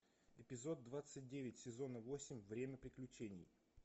эпизод двадцать девять сезона восемь время приключений